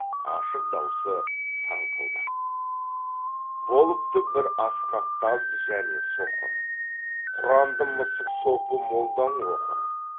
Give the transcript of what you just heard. ашық даусы саңқылдап болыпты бір ақсақ таз және соқыр құранды мысық сопы молдаң оқыр